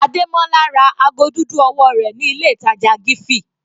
Ademola ra ago dúdú ọwọ́ rẹ̀ ní ilé ìtàjà Giffy.